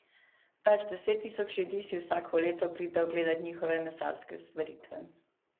Več deset tisoč ljudi si vsako leto pride ogledati njihove mesarske stvaritve.